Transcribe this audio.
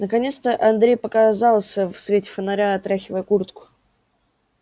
наконец андрей показался в свете фонаря отряхивая куртку